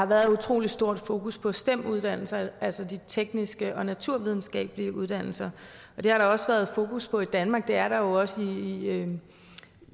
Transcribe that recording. været et utrolig stort fokus på stem uddannelserne altså de tekniske og naturvidenskabelige uddannelser det er der også været fokus på i danmark og det er der jo også i